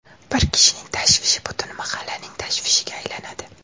Bir kishining tashvishi butun mahallaning tashvishiga aylanadi.